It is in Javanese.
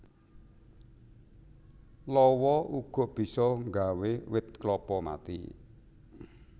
Lawa uga bisa nggawé wit klapa mati